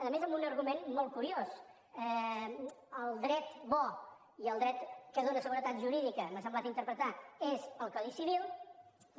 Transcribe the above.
a més amb un argument molt curiós el dret bo i el dret que dóna seguretat jurídica m’ha semblat interpretar és el codi civil